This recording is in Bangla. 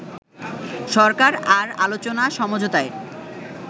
সরকার আর আলোচনা-সমঝোতায়